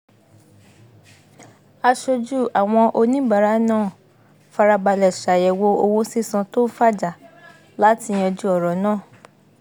aṣojú àwọn oníbàárà náà farabalẹ̀ ṣàyẹ̀wò owó sísàn tó ń fàjà láti yanjú ọ̀rọ̀ náà